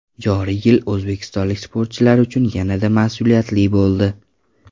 Joriy yil o‘zbekistonlik sportchilar uchun yanada mas’uliyatli bo‘ldi.